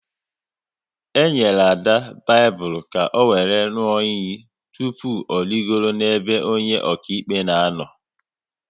E nyere Ada Baịbụl ka ọ wéré ṅụọ iyi tụpụ ọ rịgoro n'ebe onye akaebe na-anọ